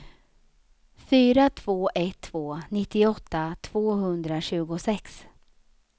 fyra två ett två nittioåtta tvåhundratjugosex